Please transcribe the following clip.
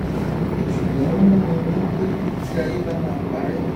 ṣùgbọn ó múmi ronú pé tí ayé bá máa parẹ